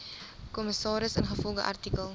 kommissaris ingevolge artikel